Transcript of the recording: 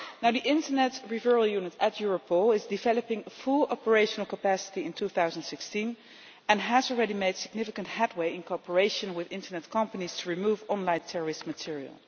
The Internet Referral Unit at Europol will reach full operational capacity in 2016 and has already made significant headway in cooperation with internet companies to remove online terrorist material.